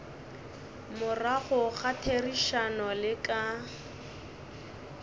morago ga therišano le ka